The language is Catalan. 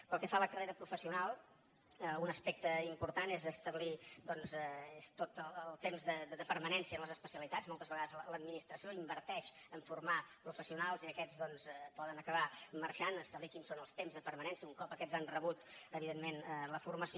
pel que fa a la carrera professional un aspecte important és establir doncs tot el temps de permanència en les especialitats moltes vegades l’administració inverteix a formar professionals i aquests doncs poden acabar marxant establir quins són els temps de permanència un cop aquests han rebut evidentment la formació